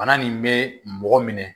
Bana nin be mɔgɔ minɛ